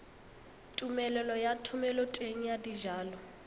tumelelo ya thomeloteng ya dijalo